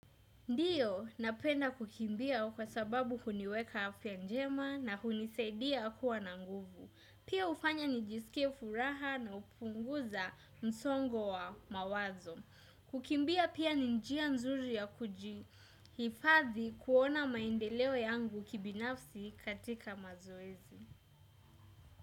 Ndiyo, napenda kukimbia kwa sababu huniweka afya njema na hunisaidia kuwa na nguvu. Pia hufanya nijisikie furaha na hupunguza msongo wa mawazo. Kukimbia pia ni njia nzuri ya kujihifadhi kuona maendeleo yangu kibinafsi katika mazoezi.